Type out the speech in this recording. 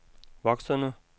voksende